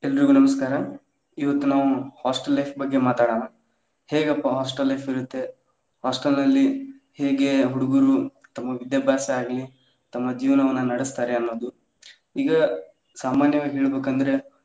ಎಲ್ರಿಗು ನಮಸ್ಕಾರ ಇವತ್ತು ನಾವು hostel life ಬಗ್ಗೆ ಮಾತಾಡೋನಾ ಹೇಗಪ್ಪಾ hostel life ಇರುತ್ತೆ? hostel ನಲ್ಲಿ ಹೇಗೆ ಹುಡ್ಗುರು ತಮ್ಮ ವಿದ್ಯಾಬ್ಯಾಸ ಆಗ್ಲಿ ತಮ್ಮ ಜೀವನವನ್ನ ನಡಸ್ತಾರೆ ಅನ್ನೋದು ಈಗ ಸಾಮಾನ್ಯವಾಗಿ ಹೇಳಬೇಕ ಅಂದ್ರೆ.